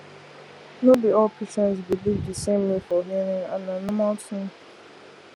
no be all patients believe the same way for healing and na normal thing